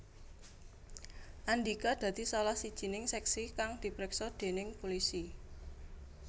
Andika dadi salah sijining seksi kang dipriksa déning pulisi